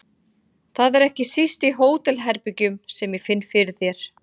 Það er ekki síst í hótelherbergjum sem ég finn fyrir þér.